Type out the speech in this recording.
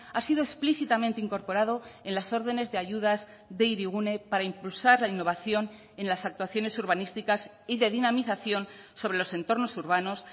ha sido explícitamente incorporado en las órdenes de ayudas de hirigune para impulsar la innovación en las actuaciones urbanísticas y de dinamización sobre los entornos urbanos